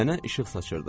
Nənə işıq saçdırdı.